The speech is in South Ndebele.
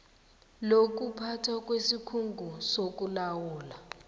lokuphathwa kwesikhungo sokulawulwa